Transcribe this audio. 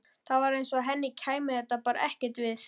Það var eins og henni kæmi þetta bara ekkert við.